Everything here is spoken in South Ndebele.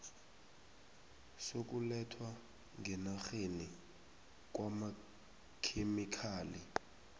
sokulethwa ngenarheni kwamakhemikhali